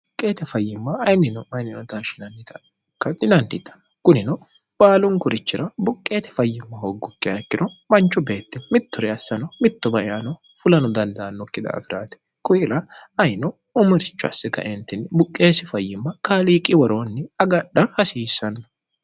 qeete fayyimma ayinnino yininoshindinanino kunino baalunkurichira buqqeete fayyimma hooggokki ayikkiro manchu beette mitture assano mittoba eano fulano dandaannokki daafiraate kuila ayino umirichu assi kaentinni buqqeesi fayyimma kaaliiqi woroonni agadha hasiissanno